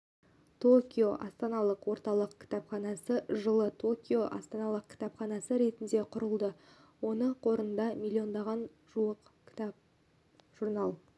токио астаналық орталық кітапханасы жылы токио астаналық кітапханасы ретінде құрылды оның қорында миллионға жуық кітап журнал